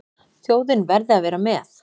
Þjóðin verði að vera með.